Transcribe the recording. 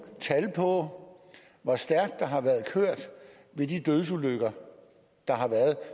tal på hvor stærkt der har været kørt ved de dødsulykker der har været